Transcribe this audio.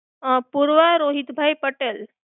આહ Purva Rohitbhai Patel